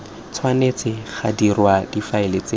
tshwanetse ga dirwa difaele tse